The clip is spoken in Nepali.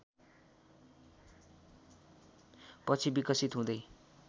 पछि विकसित हुँदै